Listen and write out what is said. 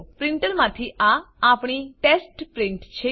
પ્રીંટરમાંથી આ આપણી test print છે